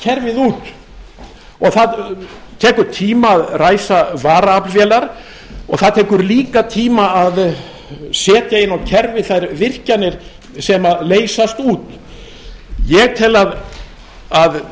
kerfið út og það tekur tíma að ræsa varaaflvélar og það tekur líka tíma að setja inn á kerfið þær virkjanir sem leysast út ég tel að það